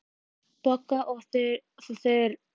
Bogga og Þura höfðu ekki atkvæðisrétt í málinu.